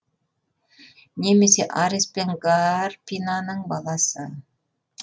немесе арес пен гарпинаның баласы